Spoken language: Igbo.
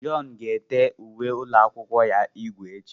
John ga-ete uwe ụlọ akwụkwọ ya ígwè echi.